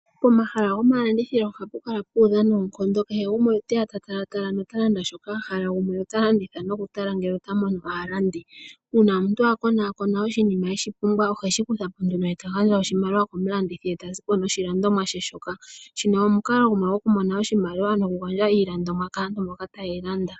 Pomahala gomalandithilo ohapu kala pu udha noonkondo kehe gumwe oteya ta tala tala nota landa shoka a hala gumwe ota landitha noku tala ngele ota mono aalandi. Uuna omuntu a kona kona oshinima eta mono eshi pumbwa oheshi kuthapo nduno eta gandja oshimaliwa komulandithi eta ziko noshi landomwa she shoka shino omukalo gumwe gwoku mona oshimaliwa noku gandjaiilandomwa kaantu mboka tayeyi landa.